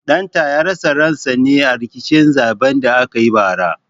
Ɗan ta ya rasa ran sa ne a rikicin zaɓen da aka yi bara